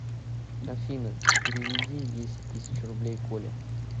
афина переведи десять тысяч рублей коле